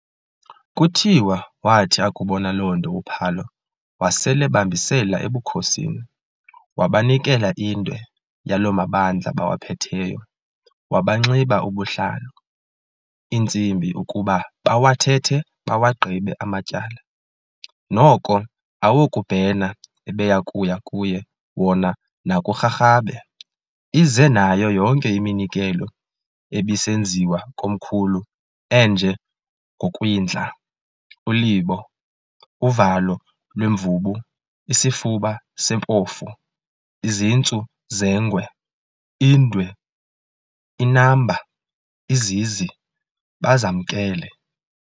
Kuthiwa waathi akubona loo nto uPhalo wasel'ebamisela ebukhosini, wabanikela indwe yaloo mabandla bawaphetheyo, wabanxiba ubuhlalu, intsimbi, ukuba bawathethe bawagqibe amatyala, noko awokubhena ebeyakuya kuye wona nakuRharhabe, ize nayo yonke iminikelo ebisenziwa komkhulu enje ngokwindla, ulibo, uvalo lwemvubu, isifuba sempofu, izintsu zengwe, indwe, inamba, izizi, bazamkele.